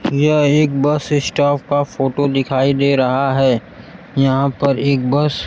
यह एक bus stop का फोटो दिखाई दे रहा है यहां पर एक बस --